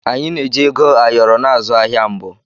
Anyị na-eji Ego ayoro na-azụ ahịa mbụ.